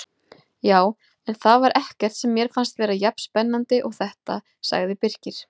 Já, en það var ekkert sem mér fannst vera jafn spennandi og þetta sagði Birkir.